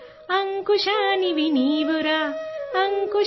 اے ویر نرسنگھ!